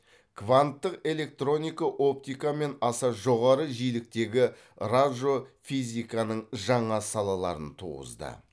кванттық электроника оптикамен аса жоғары жиіліктегі раджофизиканың жаңа салаларын туғызды